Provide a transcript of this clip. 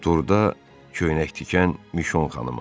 Durda köynək tikən Mişon xanıma.